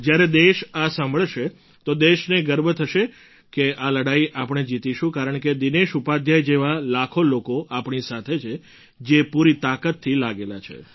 જ્યારે દેશ આ સાંભળશે તો દેશને ગર્વ થશે કે લડાઈ આપણે જીતીશું કારણકે દિનેશ ઉપાધ્યાય જેવા લાખો લોકો આપણી સાથે છે જે પૂરી તાકાતથી લાગેલા છે